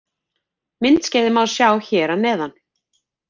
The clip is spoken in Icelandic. Myndskeiðið má sjá hér að neðan